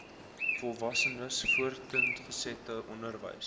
volwassenes voortgesette onderwys